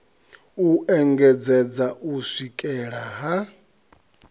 u engedzedza u swikela ha